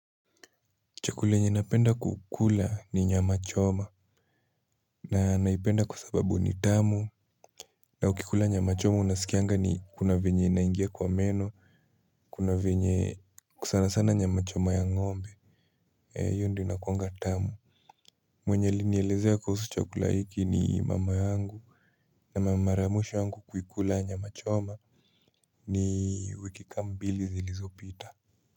Chakule yenye napenda kukula ni nyama choma. Na naipenda kwa sababu ni tamu. Na ukikula nyama choma unasikianga ni kuna venye inaingia kwa meno. Kuna venye sanasana nyama choma ya ngombe. Hiyo ndio inakuanga tamu. Mwenye alinielezea kuhusu chakula hiki ni mama angu. Na mara ya mwisho yangu kuikula nyama choma ni wiki kama mbili zilizopita.